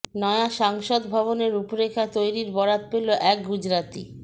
নয়া সংসদ ভবনের রূপরেখা তৈরির বরাত পেল এক গুজরাতি